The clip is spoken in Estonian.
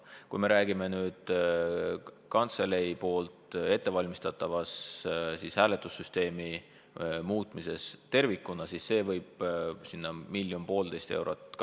Kui me räägime kantselei ettevalmistatavast hääletussüsteemi muutmisest tervikuna, siis see võib maksta miljon-poolteist eurot.